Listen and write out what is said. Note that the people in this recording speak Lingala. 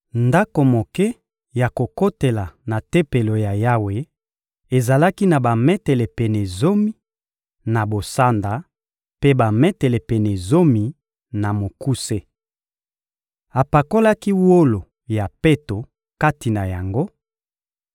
Ndako moke ya kokotela na Tempelo ya Yawe ezalaki na bametele pene zomi, na bosanda, mpe bametele pene zomi, na mokuse. Apakolaki wolo ya peto kati na yango.